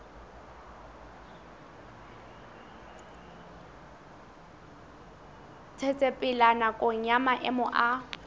tsetsepela nakong ya maemo a